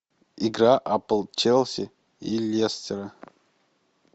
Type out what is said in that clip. игра апл челси и лестера